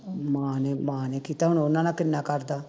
ਮਾਂ ਨੇ ਮਾਂ ਨੇ ਕੀਤਾ ਹੋਣਾ ਉਹਨਾਂ ਨਾਲ ਕਿੰਨਾ ਕਰਦਾ